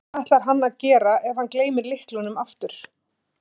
En hvað ætlar hann að gera ef hann gleymir lyklunum aftur?